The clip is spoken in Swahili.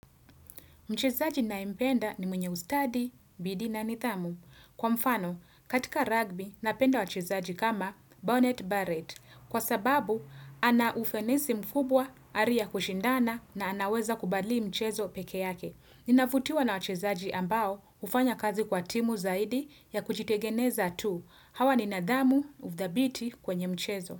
Mchezaji ninayempenda ni mwenye ustadi, bidhii na nidhamu. Kwa mfano, katika rugby, napenda wachezaji kama Bonnet Barrett. Kwa sababu, ana ufanisi mkubwa, hali kushindana na anaweza kubali mchezo peke yake. Ninavutiwa na wachezaji ambao, hufanya kazi kwa timu zaidi ya kuchitegemeza tu. Hawa ni nidhamu udhibiti kwenye mchezo.